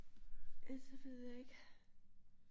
Ellers så ved jeg ikke